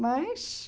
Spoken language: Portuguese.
Mas...